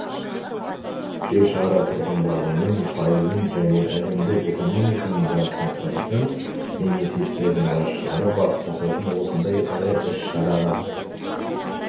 жер шары тұрғандарының пайызын және әлемдік экономиканың жартысын құрайтын мемлекеттердің басшылары бас қосатын осындай ірі іс-шараға